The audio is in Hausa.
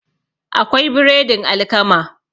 akwai biredin alkama